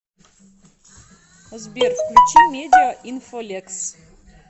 сбер включи медиа инфо лекс